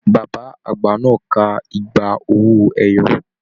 Bàbá àgbà náà ká igba owó ẹyọ.